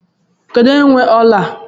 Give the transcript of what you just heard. Kedụ onye nwe ọla a?